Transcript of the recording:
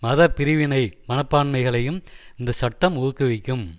மத பிரிவினை மனப்பான்மைகளையும் இந்த சட்டம் ஊக்குவிக்கும்